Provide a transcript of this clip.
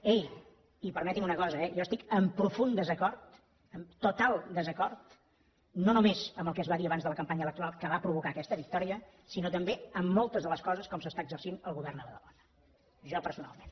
ei i permeti’m una cosa eh jo estic amb profund desacord amb total desacord no només amb el que es va dir abans de la campanya electoral que va provocar aquesta victòria sinó també amb moltes de les coses que està exercint el govern a badalona jo personalment